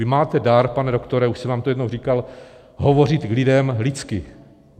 Vy máte dar, pane doktore, už jsem vám to jednou říkal, hovořit k lidem lidsky.